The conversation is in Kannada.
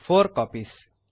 4 ಕಾಪೀಸ್